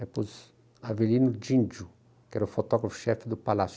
Aí puse Avelino Díndio, que era o fotógrafo-chefe do Palácio.